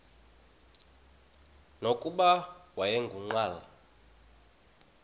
nokuba wayengu nqal